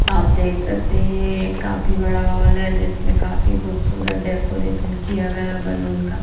आप देख सकते हैं ये एक काफी बड़ा हॉल है जिसमें काफी खूबसूरत डेकोरेशन किया गया बैलून का--